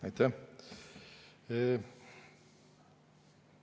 Aitäh!